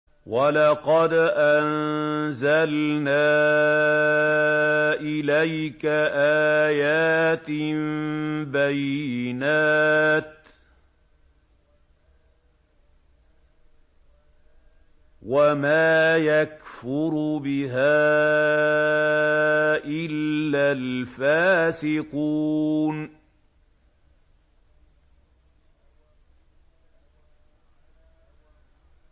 وَلَقَدْ أَنزَلْنَا إِلَيْكَ آيَاتٍ بَيِّنَاتٍ ۖ وَمَا يَكْفُرُ بِهَا إِلَّا الْفَاسِقُونَ